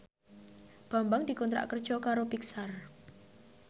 Bambang dikontrak kerja karo Pixar